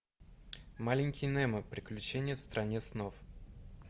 маленький немо приключения в стране снов